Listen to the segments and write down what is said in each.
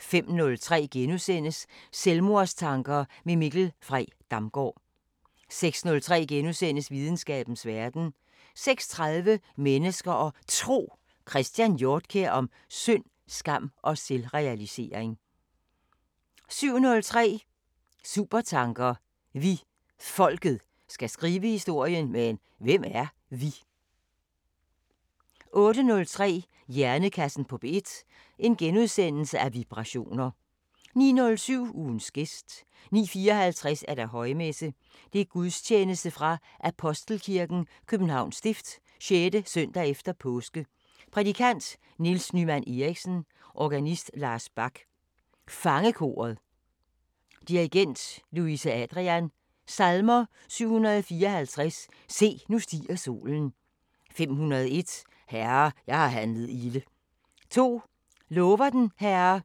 05:03: Selvmordstanker med Mikkel Frey Damgaard * 06:03: Videnskabens Verden * 06:30: Mennesker og Tro: Christian Hjortkjær om synd, skam og selvrealisering * 07:03: Supertanker: Vi, folket, skal skrive historien – Men hvem er "vi"? 08:03: Hjernekassen på P1: Vibrationer * 09:07: Ugens gæst 09:54: Højmesse - Gudstjeneste fra Apostelkirken, Københavns Stift. 6. s. e. påske Prædikant: Niels Nymann Eriksen. Organist: Lars Bak. Fangekoret, dir. Louise Adrian. Salmer: 754: "Se, nu stiger solen" 501: "Herre jeg har handlet ilde" 2: "Lover den Herre"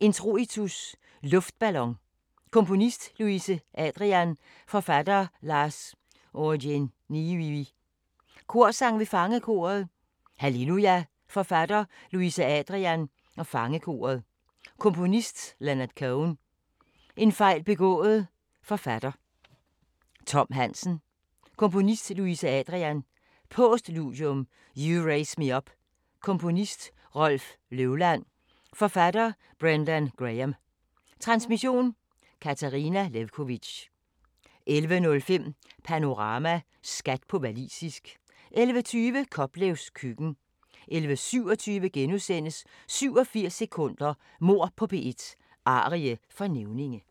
Introitus: Luftballon Komponist: Louise Adrian. Forfatter: Lars Ojeniyi. Korsang v. Fangekoret: Halleluja Forfatter: Louise Adrian /Fangekoret. Komponist: Leonard Cohen. En fejl begået Forfatter: Tom Hansen. Komponist: Louise Adrian. Postludium: You Raise Me Up Komponist: Rolf Løvland. Forfatter: Brendan Graham. Transmission: Katarina Lewkovitch. 11:05: Panorama: Skat på walisisk 11:20: Koplevs Køkken 11:27: 87 sekunder – Mord på P1: Arie for nævninge *